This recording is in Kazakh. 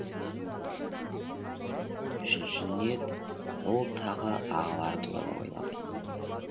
үшінші ниет ол тағы ағалары туралы ойлады